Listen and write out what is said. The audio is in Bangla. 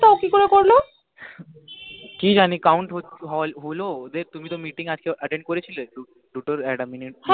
কি জানি count হ্ও হলো ওদের তুমি তো meeting আজকে attend করেছিলে